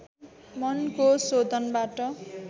मनको शोधनबाट